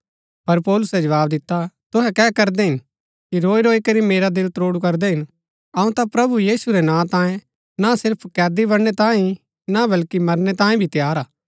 पर पौलुसै जवाव दिता तुहै कै करदै हिन कि रोईरोई करी मेरा दिल त्रोडु करदै हिन अऊँ ता प्रभु यीशु रै नां तांयें ना सिर्फ कैदी बणनै तांयें ही ना बल्कि मरनै तांयें भी तैयार हा